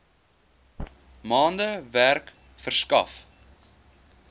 maande werk verskaf